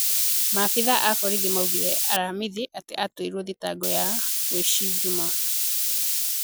Maabithaa a borithi maugire alhamithi ati aratuirwo thitango ya wuici njumaa.